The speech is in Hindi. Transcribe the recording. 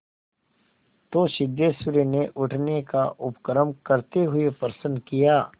तो सिद्धेश्वरी ने उठने का उपक्रम करते हुए प्रश्न किया